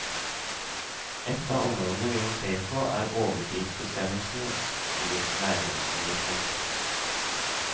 Et av områdene vi må se på, er overtidsbestemmelsene, sier næringsministeren.